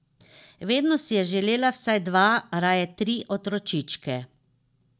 Vedno si je želela vsaj dva, raje tri otročičke.